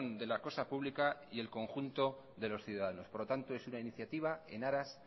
de la cosa pública y el conjunto de los ciudadanos por lo tanto es una iniciativa en aras